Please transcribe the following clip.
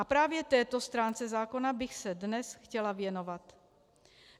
A právě této stránce zákona bych se dnes chtěla věnovat.